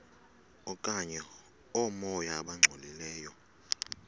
okanye oomoya abangcolileyo